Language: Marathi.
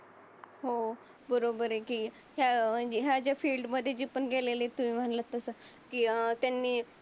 हो बरोबर आहे की फॅ ह्या ज्या फिल्डमध्ये जी पण गेलेले. तुम्ही मनलात तस कि अं त्यांनी